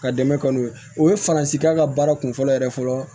Ka dɛmɛ k'o ye o ye faransikan baara kun fɔlɔ yɛrɛ fɔlɔ